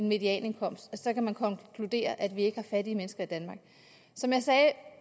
medianindkomsten så kan man konkludere at vi ikke har fattige mennesker i danmark som jeg sagde